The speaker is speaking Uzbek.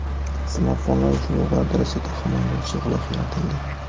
Smartfonlar uchun yuqori darajada himoyalovchi g‘ilof yaratildi .